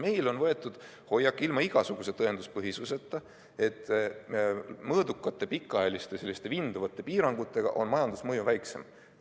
Meil on võetud hoiak ilma igasuguse tõenduspõhisuseta, et mõõdukate pikaajaliste vinduvate piirangutega on majandusmõju väiksem.